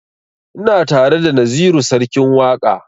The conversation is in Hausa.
Ina tare da naziru sarkin waƙa